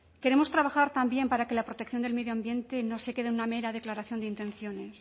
queremos trabajar también para que la protección del medio ambiente no se quede en una mera declaración de intenciones